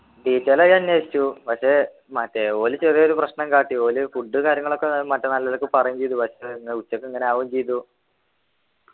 detail ആയി അന്വേഷിച്ചു പക്ഷെ മറ്റേ ഓല് ചെറിയൊരു പ്രശ്നം കാട്ടി ഓല് food കാര്യങ്ങളൊക്കെ മറ്റേ നല്ലതൊക്കെ പറയും ചെയ്തു പക്ഷെ ന്നാ ഉച്ചക്ക് ഇങ്ങനെ ആവും ചെയ്തു